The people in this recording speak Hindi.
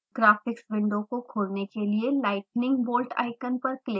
graphics window को खोलने के लिए lightning bolt icon पर क्लिक करें